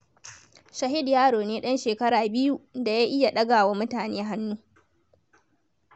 Shahid yaro ne ɗan shekara biyu da ya iya ɗaga wa mutane hannu.